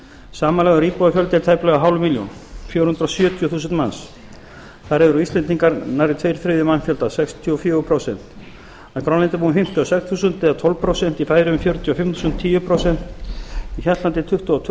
samanlagður íbúafjöldi er tæplega hálf milljón þar af eru íslendingar nærri tveir þriðju mannfjöldans á grænlandi búa um fimmtíu og sex þúsund í færeyjum fjörutíu og fimm þúsund hjaltlandi tuttugu og tvö